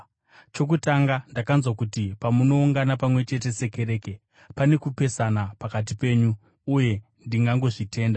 Chokutanga, ndakanzwa kuti pamunoungana pamwe chete sekereke, pane kupesana pakati penyu, uye ndingangozvitenda.